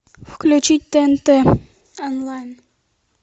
включить тнт онлайн